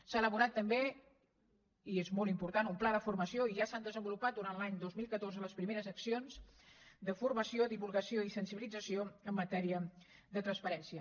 s’ha elaborat també i és molt important un pla de formació i ja s’han desenvolupat durant l’any dos mil catorze les primeres accions de formació divulgació i sensibilització en matèria de transparència